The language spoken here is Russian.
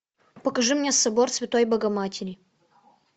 покажи мне собор святой богоматери